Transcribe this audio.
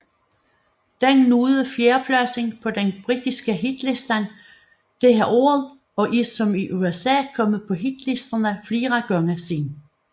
Den nåede fjerdepladsen på den britiske hitliste dette år og er som i USA kommet på hitlisterne flere gange siden